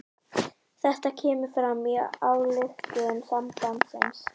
Þetta kemur fram í ályktun sambandsins